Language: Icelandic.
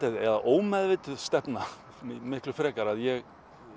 eða ómeðvituð stefna miku frekar ég